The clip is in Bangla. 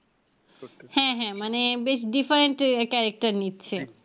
হ্যাঁ হ্যাঁ মানে বেশ different character নিচ্ছে